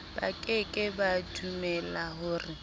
ba ke ke ba dumelahore